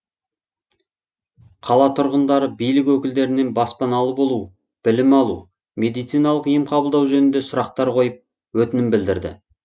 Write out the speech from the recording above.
қала тұрғындары билік өкілдерінен баспаналы болу білім алу медициналық ем қабылдау жөнінде сұрақтар қойып өтінім білдірді